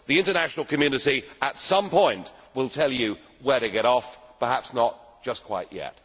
The international community at some point will tell you where to get off perhaps not just quite yet.